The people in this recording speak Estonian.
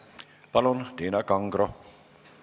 Palun, Tiina Kangro!